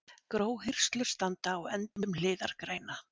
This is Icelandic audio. Gróhirslur standa á endum hliðargreina.